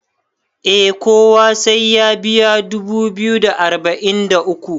eh kowa sai ya biya dubu biyu da arba'in da uku